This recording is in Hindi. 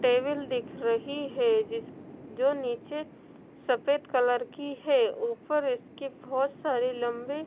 टेबिल दिख रही है जिस जो नीचे सफेद कलर की है ऊपर इसके बहोत सारे लंबे--